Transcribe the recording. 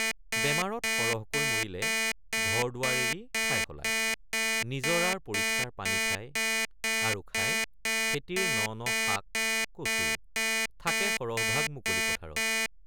বেমাৰত সহৰকৈ মৰিলে ঘৰদুৱাৰ এৰি ঠাই সলায় ৷ নিঝৰাৰ পৰিষ্কাৰ পানী খায় আৰু খায় খেতিৰ ন ন শাক কচু থাকে সৰহভাগ মুকলি পথাৰত ।